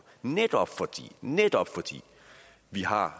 netop fordi netop fordi vi har